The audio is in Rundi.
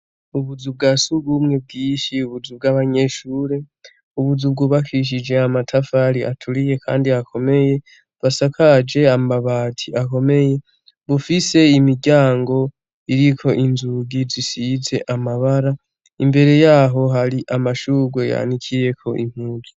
Ubuzubwa si ugumwe bw'ishi ubuzu bw'abanyeshure ubuzubwu bakishije amatafari aturiye, kandi akomeye basakaje amabati akomeye bufise imiryango iriko inzugi zisize amabara imbere yaho hari amashuge yanikiyeko impugi.